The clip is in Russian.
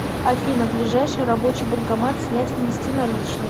афина ближайший рабочий банкомат снять внести наличные